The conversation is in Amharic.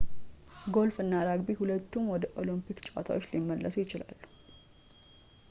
ጎልፍ እና ራግቢ ሁለቱም ወደ ኦሎምፒክ ጨዋታዎች ሊመለሱ ነው